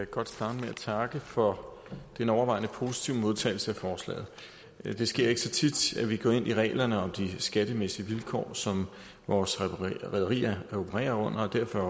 godt starte med at takke for den overvejende positive modtagelse af forslaget det sker ikke så tit at vi går ind i reglerne om de skattemæssige vilkår som vores rederier opererer under og derfor er